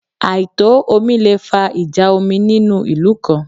Àìtò omi le fa ìjà omi nínú ìlú kan